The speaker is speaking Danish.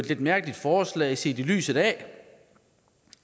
et mærkeligt forslag set i lyset af